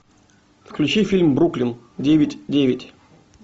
включи фильм бруклин девять девять